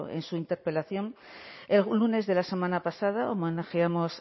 en su interpelación el lunes de la semana pasada homenajeamos